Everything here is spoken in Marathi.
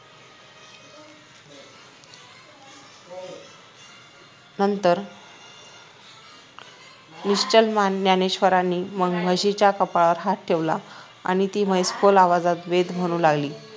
नंतर निश्चल ज्ञानेश्वरांनी मग म्हशीचा कपाळावर हाथ ठेवला आणि ती म्हैस खोल आवाजात वेद म्हणू लागली